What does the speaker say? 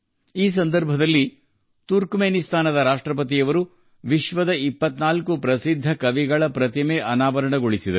ಈ ಸಂದರ್ಭದಲ್ಲಿ ತುರ್ಕಮೆನಿಸ್ತಾನದ ಅಧ್ಯಕ್ಷರು ವಿಶ್ವದ 24 ಪ್ರಸಿದ್ಧ ಕವಿಗಳ ಪ್ರತಿಮೆಗಳನ್ನು ಅನಾವರಣಗೊಳಿಸಿದರು